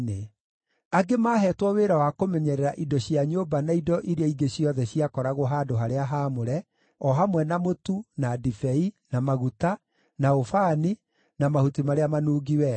Angĩ maaheetwo wĩra wa kũmenyerera indo cia nyũmba na indo iria ingĩ ciothe ciakoragwo handũ-harĩa-haamũre, o hamwe na mũtu, na ndibei, na maguta, na ũbani, na mahuti marĩa manungi wega.